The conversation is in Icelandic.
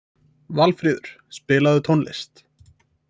Valfríður, spilaðu tónlist.